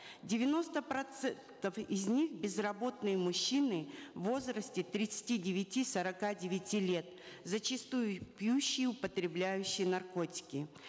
девяносто процентов из них безработные мужчины в возрасте тридцати девяти сорока девяти лет зачастую пьющие употребляющие наркотики